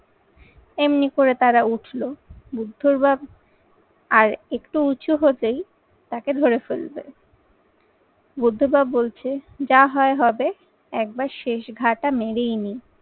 এমনি করে তাঁরা উঠলো। বুদ্ধর বাপ আর একটু উঁচু হতেই তাকে ধরে ফেলবে বুদ্ধ বাপ বলছে যা হয় হবে একবার শেষ ঘা টা মেরেই নি।